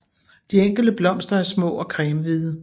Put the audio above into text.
De enkelte blomster er små og cremehvide